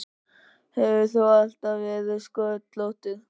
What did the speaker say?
Hefur þú alltaf verið sköllóttur?